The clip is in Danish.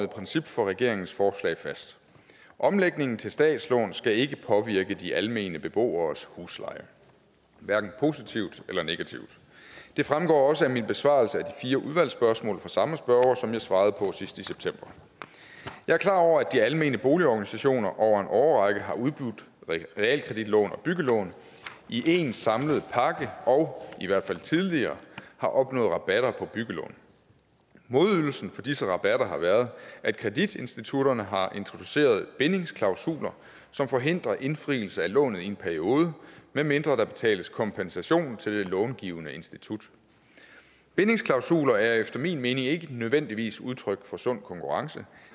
princip for regeringens forslag fast omlægningen til statslån skal ikke påvirke de almene beboeres husleje hverken positivt eller negativt det fremgår også af min besvarelse af de fire udvalgsspørgsmål fra samme spørger som jeg svarede på sidst i september jeg er klar over at de almene boligorganisationer over en årrække har udbudt realkreditlån og byggelån i en samlet pakke og i hvert fald tidligere har opnået rabatter på byggelån modydelsen for disse rabatter har været at kreditinstitutterne har introduceret bindingsklausuler som forhindrer indfrielse af lånet i en periode medmindre der betales kompensation til det långivende institut bindingsklausuler er efter min mening ikke nødvendigvis udtryk for sund konkurrence